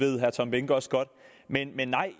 ved herre tom behnke også godt men men nej